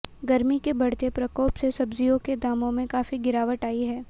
गर्मी के बढ़ते प्रकोप से सब्जियों के दामों में काफी गिरावट आई है